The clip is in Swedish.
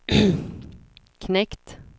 knekt